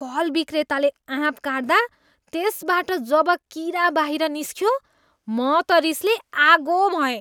फल विक्रेताले आँप काट्दा त्यसबाट जब कीरा बाहिर निस्कियो, म त रिसले आगो भएँ।